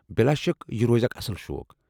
بِلا شك یہ روزِ یہِ اکھ اصٕل شوق ۔